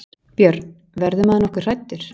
Björn: Verður maður nokkuð hræddur?